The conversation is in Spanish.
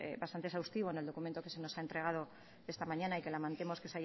bastante exhaustivo en el documento que se nos ha entregado esta mañana y que lamentamos que